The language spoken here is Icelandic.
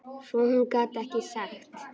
Svo hún gat ekkert sagt.